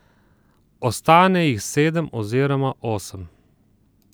Ostane jih sedem oziroma osem.